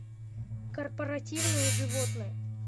корпоративные животные